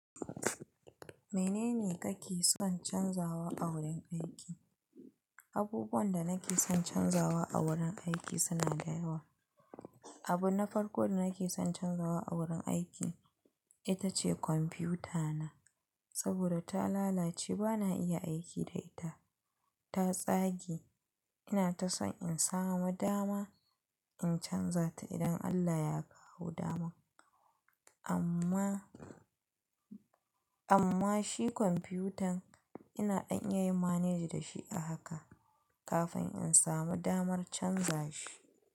Menene kake son canzawa a wurin aiki? Abubuwan da nake son canzawa a wurin aiki suna da yawa. Abun na farko da nake son canzawa a wurin aiki ita ce kwamfutana, saboda ta lalace bana iya aiki da ita. Ta tsage. Ina ta son in samu dama in canza ta idan Allah ya kawo daman. Amma, amma shi kwamfutan ina dan iya yi manage da shi a haka kafin in samu damar canza shi.